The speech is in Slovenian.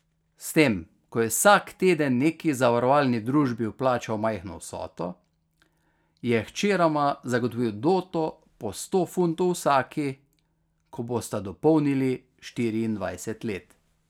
S tem, ko je vsak teden neki zavarovalni družbi vplačal majhno vsoto, je hčerama zagotovil doto po sto funtov vsaki, ko bosta dopolnili štiriindvajset let.